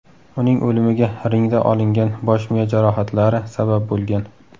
Uning o‘limiga ringda olingan bosh-miya jarohatlari sabab bo‘lgan.